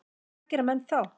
Hvað gera menn þá?